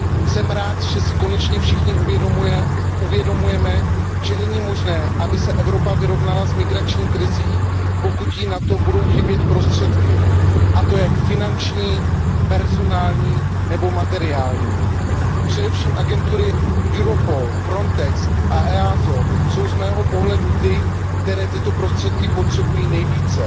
Jsem rád, že si konečně všichni uvědomujeme, že není možné, aby se Evropa vyrovnala s migrační krizí, pokud jí na to budou chybět prostředky, a to jak finanční, personální nebo materiální. Především agentury EUROPOL, FRONTEX a EASA jsou z mého pohledu ty, které tyto prostředky potřebují nejvíce.